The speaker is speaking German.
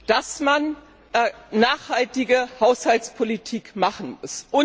dass man nachhaltige Haushaltspolitik machen muss.